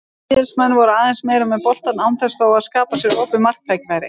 Víðismenn voru aðeins meira með boltann án þess þó að skapa sér opin marktækifæri.